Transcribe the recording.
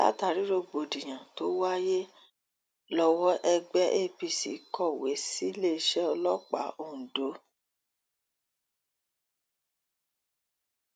látàrí rògbòdìyàn tó wáyé lọwọ ẹgbẹ v apc kọwé síléeṣẹ ọlọpàá ondo